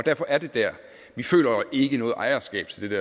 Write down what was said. derfor er det der vi føler ikke noget ejerskab til det